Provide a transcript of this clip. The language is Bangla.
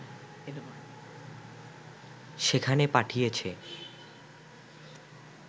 সেখানে পাঠিয়েছে